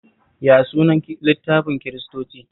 Ya sunan littafin Kiristoci?